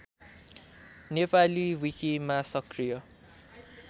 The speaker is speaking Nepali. नेपाली विकिमा सक्रिय